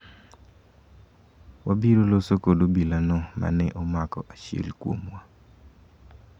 wabiro loso kod obila no mane omako achiel kuomwa